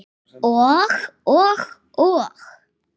Og og og?